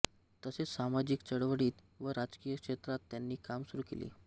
तसेच सामाजिक चळवळीत व राजकीय क्षेत्रात त्यांनी काम सुरू केले